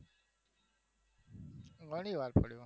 ઘણી વાર પડ્યો